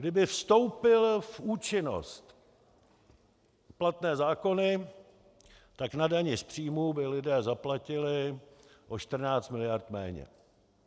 Kdyby vstoupily v účinnost platné zákony, tak na dani z příjmů by lidé zaplatili o 14 miliard méně.